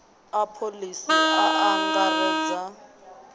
a pholisi a a angaredza